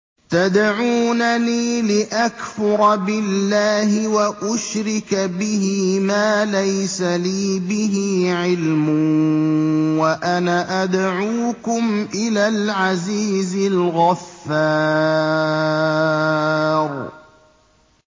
تَدْعُونَنِي لِأَكْفُرَ بِاللَّهِ وَأُشْرِكَ بِهِ مَا لَيْسَ لِي بِهِ عِلْمٌ وَأَنَا أَدْعُوكُمْ إِلَى الْعَزِيزِ الْغَفَّارِ